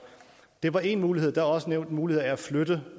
det var én mulighed der er også nævnt muligheden af at flytte